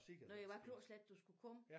Nåh ja hvad klokkeslæt du skulle komme?